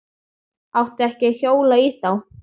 Átti ekki að hjóla í þá.